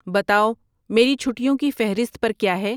بتاؤ میری چھٹہوں کی فہرست پر کیا ہے